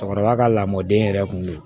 Cɛkɔrɔba ka lamɔden yɛrɛ kun be yen